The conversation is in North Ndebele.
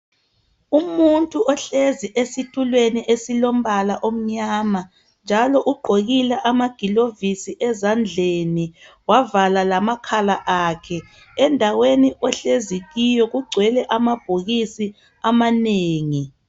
Umuntu ohlezi esitulweni esilombala omnyama njalo ugqokile ama gloves ezandleni wavala lamakhala akhe endaweni ahlezi kiyo kugcwele amabhokisi amanengi